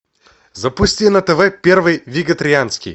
запусти на тв первый вегетарианский